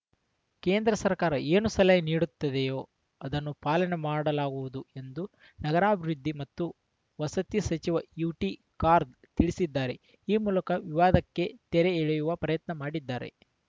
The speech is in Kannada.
ಕೇಂದ್ರ ಸರ್ಕಾರ ಏನು ಸಲಹೆ ನೀಡುತ್ತದೆಯೋ ಅದನ್ನು ಪಾಲನೆ ಮಾಡಲಾಗುವುದು ಎಂದು ನಗರಾಭಿವೃದ್ಧಿ ಮತ್ತು ವಸತಿ ಸಚಿವ ಯುಟಿ ಖಾರ್‌ದ್ ತಿಳಿಸಿದ್ದಾರೆ ಈ ಮೂಲಕ ವಿವಾದಕ್ಕೆ ತೆರೆ ಎಳೆಯುವ ಪ್ರಯತ್ನ ಮಾಡಿದ್ದಾರೆ